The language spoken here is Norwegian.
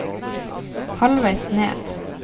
halvveis ned